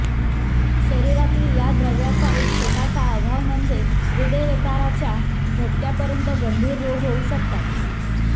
शरीरातील या द्रव्याचा एक छोटासा अभाव म्हणजे हृदयविकाराच्या झटक्यापर्यंत गंभीर रोग होऊ शकतात